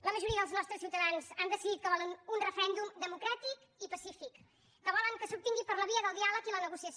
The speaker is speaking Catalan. la majoria dels nostres ciutadans han decidit que volen un referèndum democràtic i pacífic que volen que s’obtingui per la via del diàleg i la negociació